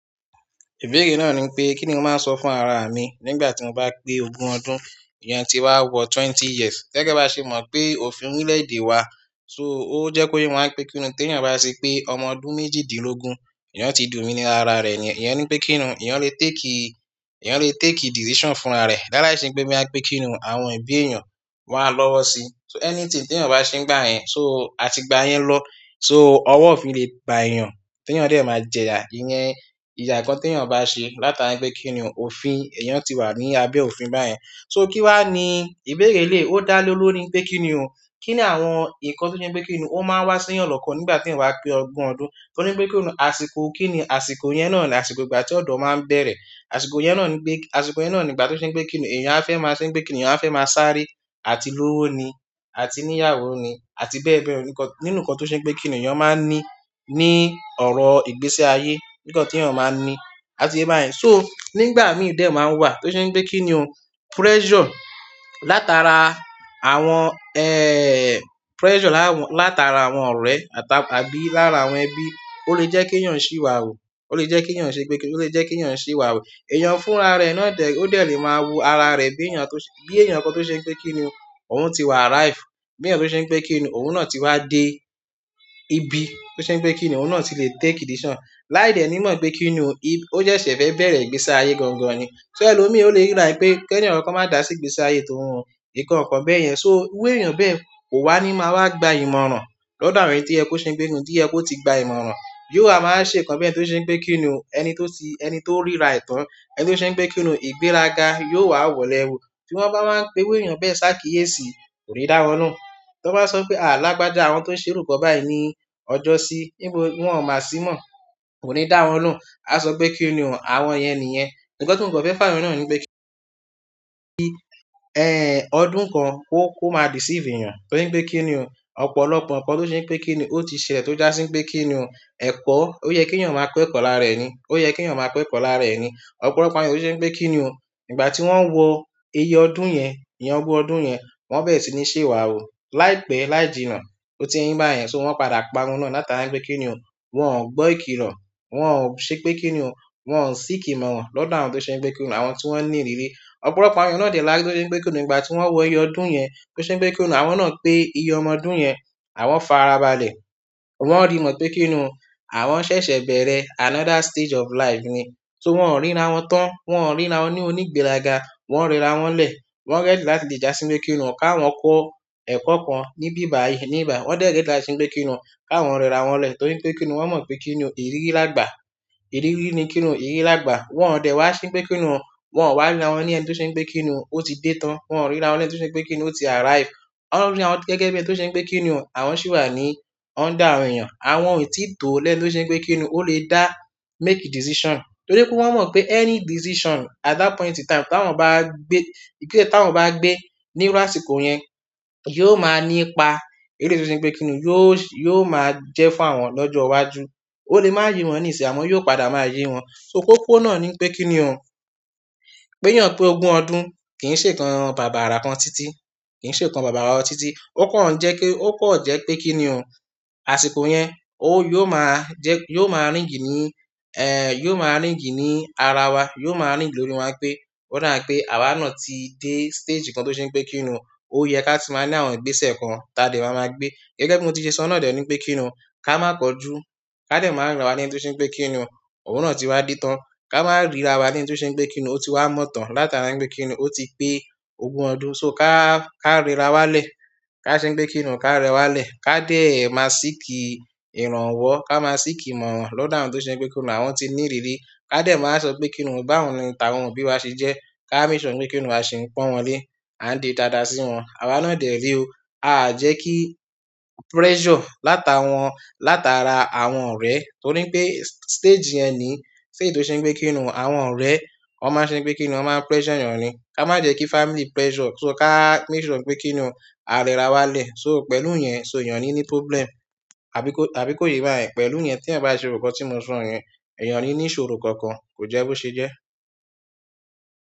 Ìbéèrè náà ní pé, kíni mo máa sọ fún ara mi nígbà tí mo bá pé ogún ọdún? Iyen ti n ba wo 20years gẹ́gẹ́ bi a se mo pe òfin orile èdè wa. So ó jẹ́ kó ye wa ń pé kíni tí èèyàn bá ṣe pé ọmọ ọdún méjìdínlógún, èèyàn ti dominíra ara rẹ̀ ni. Èèyàn ní pé kíni èèyàn lè take, èèyàn lè take decision fún ara rẹ̀. Laliise pé máa pé kíni àwọn òbí èèyàn wa lọ́wọ́ sí. So anything ti eeyan ma se nigbayen so àti gbayen lo so owo òfin le ba eeyan ti eeyan de ma jeya iyen. Ìya nkan tí èèyàn bá ṣe látara pé kíni òfin èèyàn ti wà ní abẹ́ òfin báyẹn. So kí wá ní ìbéèrè elèyii ó dá lórí pé kíni òo. Kí ni àwọn nǹkan tó ṣe pé kíni ó máa wá sí èèyàn lọ́kàn nígbà tí ìwà pé ọgun ọdún? Torí pé kíni àsìkò, kíni àsìkò yẹn náà ni àsìkò ìgbà tí ọ̀dọ́ máa ń bẹ̀rẹ̀. Àsìkò yẹn náà ní pé, àsìkò yẹn náà ní ìgbà tó ṣe pé kíni èèyàn á fẹ́ máa ṣe, pé kíni èèyàn á fẹ́ máa sáré àti lówó ni àti níyàwó ni àti bẹ́ẹ̀ bẹ́ẹ̀ lọ. Nǹkan, nínú nǹkan tó ṣe pé kíni èèyàn máa ní ní ọ̀rọ̀ ìgbésí ayé, nǹkan tí èèyàn máa ní, àtiye yin bayẹn. So nígbà míì dẹ̀ máa wà tó ṣe pé kíni òun pressure látara àwọn, eh, pressure lá-- látara àwọn ọ̀rẹ́ àtà-- àbí lára àwọn ẹbí ó lè jẹ́ kí èèyàn ṣì wà wò. Ó lè jẹ́ kí èèyàn ṣe pé kíni ó lè jẹ́ kí èèyàn ṣì wà wò. Èèyàn fún ara rẹ̀ náà dẹ̀, ó dẹ̀ lè máa wo ara rẹ̀ bí èèyàn tó ṣe, bí èèyàn kan tó ṣe pé kíni òun òun ti wà arrive. Bí èèyàn tó ṣe pé kíni òun náà ti wá dé ibi tó ṣe pé kíni òun náà ti lè take decision. Lái dẹ̀ mo pé kíni ò, ì-- ó jẹ́ ṣẹ̀ fẹ́ bẹ̀rẹ̀ ìgbésí ayé gangan ni. So ẹlòmíì ó lè rí ra e pé kí ẹnikan má dà sí ìgbésí ayé tóun o, nǹkan kan bẹ́ẹ̀ yẹn. So iru èèyàn bẹ́ẹ̀ kò wá ní máa wá gba ìmọ̀ràn lọ́dọ̀ àwọn èyí tí ẹ kó ṣe pé kíni tí ẹ kó ti gba ìmọ̀ràn. Yóò wa ma wa se nkan beni to se wípé kini o torira e tan to se pe kini oo ìgbéraga yóò wa woo léwu. Tí wọ́n bá máa ń pe iru èèyàn bẹ́ẹ̀ sáà kíyèsi kò ní dáwọn loun. Tí wọ́n bá sọ pé alábàjá àwọn tó ń ṣe òrùka báyìí ní ọjọ́ sí, níbo ni wọ́n máa sí mọ̀? Kò ní dáwọn nù. A sọ pé kíni òun àwọn yẹn nìyẹn. Nkan ti mo fe fayo ni wípé kini ee ọdún kan ko ma deceive eeyan to ri pe ki ni to je pe kini o oye ki eeyan ma ko eko lára ẹni ọ̀pọ̀lọpọ̀ àwọn eeyan lo je pe kini ìgbà ti won wo ogun ọdún yen won bere sini se wa wu láìpẹ́ laijina won padà parun to ri pe kini oo wo o gbo ikilo wo se pe kini o won o seek ìmọ̀ràn lodo àwọn ti o ni ìrírí. Ọ̀pọ̀lọpọ̀ àwọn èèyàn náà dẹ̀ là á tó ṣe pe kíni òun ìgbà tí wọ́n wọ iye ọdún yẹn tó ṣe pé kíni òun àwọn náà pé iye ọmọ ọdún yẹn àwọn fa ara balẹ̀. Wọn rí mo pé kíni òun àwọn ṣẹ̀ṣẹ̀ bẹ̀rẹ̀ another stage of life ni. So wọ́n ò ríra wọn tán, wọ́n ò ríra wọn ní òní ìgbéraga, wọ́n rera wọn lẹ̀. Wọ́n ready láti lè jásí pé kíni òun ká wọn kọ́ ẹ̀kọ́ kan níbí báyìí ní ìgbà. Wọ́n dẹ̀ gẹ́gẹ́ láti ṣe pé kíni òun ká wọn rera wọn lẹ̀ torí pé kíni òun wọ́n mọ̀ pé kíni òun ìrírí lágbà. Ìrírí ni kini ìrírí lagba wo de wa se pe kini o won o ri ra bikini oot i de tan wo ri ra won bi ẹni to ti arriive. Wọ́n rí àwọn gẹ́gẹ́ bí ẹni tó ṣe pé kíni ò àwọn ṣì wà ní under àwọn èèyàn. Àwọn ò tí ì tó lẹ́ ẹni tó ṣe pé kíni òun ó lè dá make decision torí pé wọ́n mọ̀ pé any decision at that point in time tí àwọn bá gbé, ìgese tí àwọn bá gbé nípasẹ̀ àsìkò yẹn yóò máa nípa eleyii tó ṣe pé kíni òun yóò, yóò máa jẹ́ fún àwọn lọ́jọ́ iwájú. O le ma ye won nsinyi o amo o maa padà ye won koko náà ni pe kini o beeyan pe ogun ọdún kii senkan babara lo tii tii. Ó kàn jẹ́ kí, ó kàn jẹ́ pé kíni ò àsìkò yẹn ó yóò máa jẹ́, yóò máa rìng nì. Eh, yóò máa rìn gínì ní ara wa, yóò máa rìng lórí wa pé ó dá pé àwa náà ti dé stage kan tó ṣe pé kíni òun ó yẹ ká ti máa ní àwọn ìgbésẹ̀ kan táa dẹ̀ máa máa gbé. Gẹ́gẹ́ bí mo ti ṣe sọ náà dẹ̀ ní pé kíni ò ká máa kanjú, ká dẹ̀ máa ríra wa ní ẹni tó ṣe pé kíni ò òun náà ti wá dé tán. Ka ma rira pe kini o ti wa motan latari pe o ti pe ogun odunso ka rerawa le. Ká ṣe pé kíni òun ká rẹwà lẹ̀. Ká dẹ̀ máa ṣì kí ìrànwọ́, ká máa ṣì kí mọ̀ wọ́n lọ́dọ̀ àwọn tó ṣe pé kíni òun àwọn ti ní ìrírí. Ká dẹ̀ máa sọ pé kíni òun báwo ni ìta wọn òbí wá ṣe jẹ́. Ká make sure pé kíni òun máa ṣe ń pọ́n wọn lé, à ń di dada sí wọn. Àwa náà dẹ̀ ré o. A à jẹ́ kí pressure látara wọ́n, látara àwọn ọ̀rẹ́ torí pé stage yẹn ni, ṣé èyí tó ṣe pé kíni òun àwọn ọ̀rẹ́ wọ́n máa ṣe pé kíni òun wọ́n máa pressure èèyàn ni. Ká má jẹ́ kí family pressure, so ká máke sure pé kíni òun a rẹra wa lẹ̀. So pẹ̀lú yẹn, so èèyàn ní ní problem, àbí kó, àbí kó yé bá yẹn. Pẹ̀lú yẹn tí ẹ̀ bá ṣe òhunka tí mo sọ yẹn, èèyàn ní ní ìṣòrò kan kan kò jẹ́ bó ṣe jẹ́.